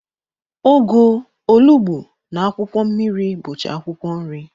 Ụgụ, olugbu, na akwụkwọ mmiri bucha akwụkwọ nri.